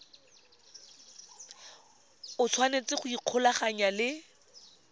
o tshwanetse go ikgolaganya le